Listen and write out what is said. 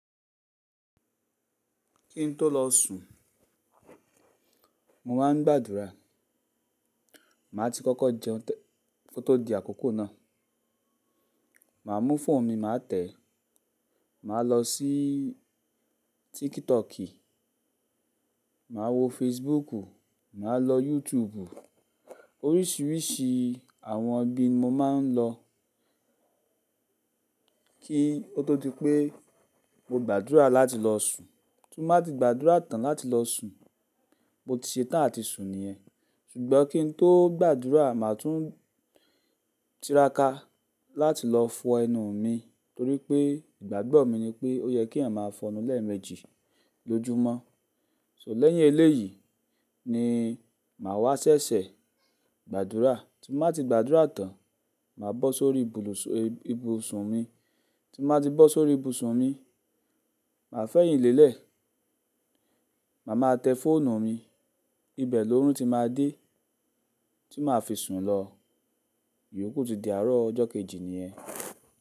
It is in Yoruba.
Kí n tó lọ sùn, mo máa ń gbàdúrà. Màá ti kọ́kọ́ jẹun ko tó di àkókò náà. Màá mú fóònù mi, màá tẹ̀ ẹ́. Màá lọ sí TikTok, màá wo Facebook, màá lọ YouTube oríṣiríṣi àwọn ibi mo máa ń lọ kí ó tó di pé mo gbàdúrà láti lọ sùn. Tí mo bá ti gbàdúrà tán láti lọ sùn, mo ti ṣe tán àti sùn niyẹ́n. Ṣùgbọ́n kí n tó gbàdúrà, màá tún tiraka láti lọ fọ ẹnu mi torí pé ìgbàgbọ́ mi ni pé ó yẹ kí ẹ̀yàn máa fọnu lẹ́ẹ̀mejì lójoojúmọ́. So lẹ́yìn eléyìí ni màá wá ṣẹ̀ṣẹ̀ gbàdúrà. Tí mo bá ti gbàdúrà tán, màá bọ́ sórí ibùsùn mi. Tí mo bá ti bọ́ sórí ibùsùn mi, màá fẹ̀yìn lẹ́lẹ̀. Màá máa tẹ fóònù mi, ibẹ̀ lóórùn tí màá dé, tí màá fi sùn lọ. Yòókù tun di àárọ̀ ọjọ́ kejì niyẹ́n.